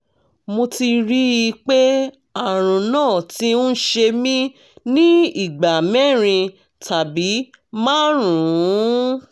mo ti rí i pé àrùn náà ti ń ṣe mí ní ìgbà mẹ́rin tàbí márùn-ún